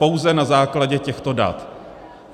Pouze na základě těchto dat.